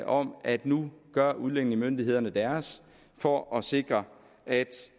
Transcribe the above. om at nu gør udlændingemyndighederne deres for at sikre at